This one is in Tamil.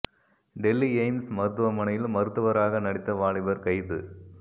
டெல்லி ஏய்ம்ஸ் மருத்துவமனையில் மருத்துவராக நடித்த வாலிபர் கைது